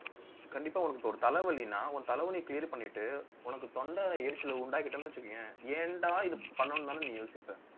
கண்டிப்பா உனக்கு ஒரு தலைவலின்னா, உன் தலைவலியை clear பண்ணிட்டு உனக்கு தொண்டை எரிச்சலை உண்டாக்கிட்டோம்னு வச்சுக்கோயேன் ஏன்டா இப்படி பண்ணணும்னுதானே நீ யோசிப்ப